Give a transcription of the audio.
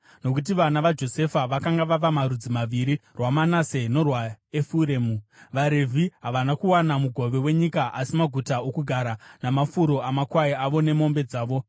nokuti vana vaJosefa vakanga vava marudzi maviri, rwaManase norwaEfuremu. VaRevhi havana kuwana mugove wenyika asi maguta okugara, namafuro amakwai avo nemombe dzavo.